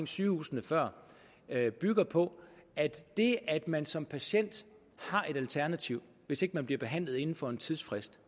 sygehusene før bygger på at det at man som patient har et alternativ hvis ikke man bliver behandlet inden for en tidsfrist